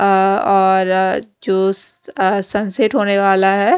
अ और जो स अ सनसेट होने वाला है।